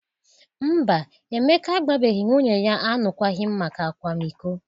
Mba, Emeka agbabeghi nwunye ya alụkwaghịm maka akwamiko.